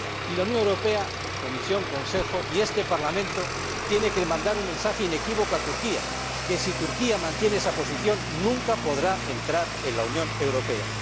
La Unión Europea —la Comisión, el Consejo y este Parlamento— tiene que mandar un mensaje inequívoco a Turquía si Turquía mantiene esa posición, nunca podrá entrar en la Unión Europea.